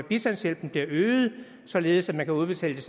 bistandshjælpen bliver øget således at der kan udbetales